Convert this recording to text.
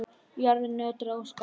Jörðin nötraði og skalf.